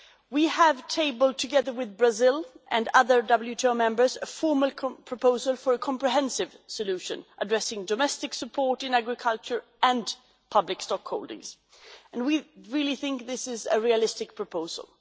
We have tabled together with Brazil and other WTO members a former current proposal for a comprehensive solution addressing domestic support in agriculture and public stock holdings, and we really think this is a realistic proposal.